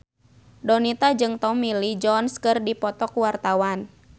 Donita jeung Tommy Lee Jones keur dipoto ku wartawan